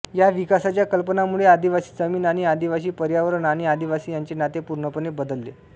या विकासाच्या कल्पनांमुळे आदिवासी जमीन आणि आदिवासी पर्यावरण आणि आदिवासी यांचे नाते पूर्णपणे बदलले